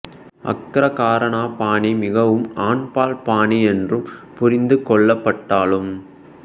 ஆக்ரா கரானா பாணி மிகவும் ஆண்பால் பாணி என்று புரிந்து கொள்ளப்பட்டாலும்